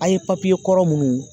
An ye kɔrɔ minnu